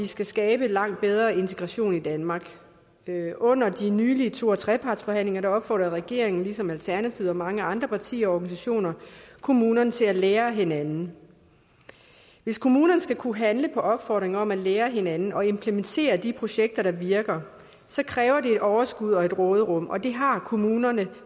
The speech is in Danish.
skal skabes langt bedre integration i danmark under de nylige to og trepartsforhandlinger opfordrede regeringen ligesom alternativet og mange andre partier og organisationer kommunerne til at lære af hinanden hvis kommunerne skal kunne handle på opfordringen om at lære af hinanden og implementere de projekter der virker så kræver det overskud og råderum og det har kommunerne